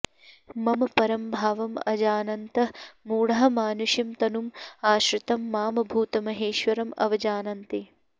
मम परं भावम् अजानन्तः मूढाः मानुषीं तनुम् आश्रितं मां भूतमहेश्वरम् अवजानन्ति